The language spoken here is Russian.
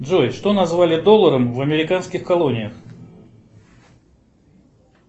джой что назвали долларом в американских колониях